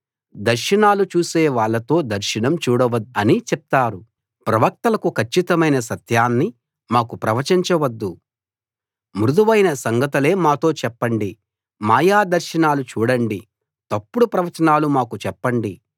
దర్శనాలు చూసే వాళ్ళతో దర్శనం చూడవద్దు అని చెప్తారు ప్రవక్తలకు కచ్చితమైన సత్యాన్ని మాకు ప్రవచించ వద్దు మృదువైన సంగతులే మాతో చెప్పండి మాయా దర్శనాలు చూడండి తప్పుడు ప్రవచనాలు మాకు చెప్పండి